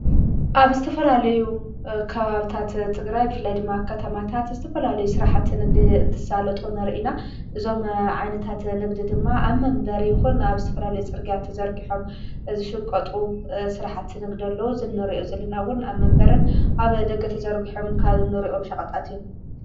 ኣብ ስተፈላለዩ ካባብታት ጥግራይብ ፍላይ ድማካት ማታት ዝተፈላለዩ ሥርሓት ንግዲ እንትሣለጡ ነርኢና ዞም ዓይነታት ንግዲ ድማ ኣብ መንበር ይኹን ኣብ ዝተፈላለዩ ጽርጋያ ተዘርግሖም ዝሽቈጡ ሥራሓቲ ንግድሎ ዝኖርኦ ዘሊናውን ኣብ መንበርን ኣብ ደገ ተዘርጕሖም ካዘኖርእኦም ሸቐጣት እዮም።